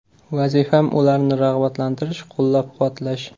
Vazifam ularni rag‘batlantirish, qo‘llab-quvvatlash.